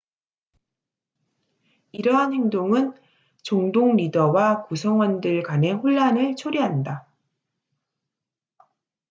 이러한 행동은 종동 리더와 구성원들 간의 혼란을 초래한다